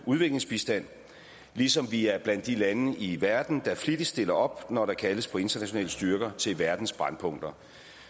udviklingsbistand ligesom vi er blandt de lande i verden der flittigst stiller op når der kaldes på internationale styrker til verdens brændpunkter